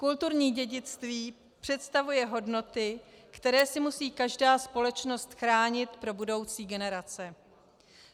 Kulturní dědictví představuje hodnoty, které si musí každá společnost chránit pro budoucí generace.